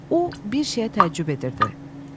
O bir şeyə təəccüb edirdi.